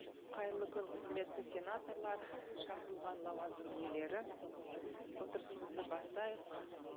қайырлы күн құрметті сенаторлар шақырылған лауазым иелері отырысымызды бастайық